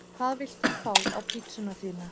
Hvað vilt þú fá á pizzuna þína?